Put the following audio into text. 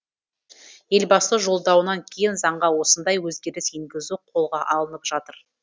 елбасының жолдауынан кейін заңға осындай өзгеріс енгізу қолға алынып жатыр